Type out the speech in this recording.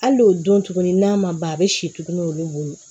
Hali n'o don tuguni n'a ma ban a bɛ si tuguni olu bolo